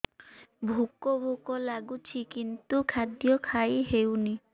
ଭୋକ ଭୋକ ଲାଗୁଛି କିନ୍ତୁ ଖାଦ୍ୟ ଖାଇ ହେଉନି